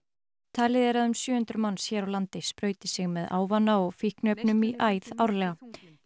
talið er að um sjö hundruð manns hér á landi sprauti sig með ávana og fíkniefnum í æð árlega